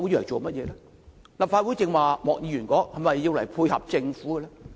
正如莫議員剛才說，立法會是否用來配合政府？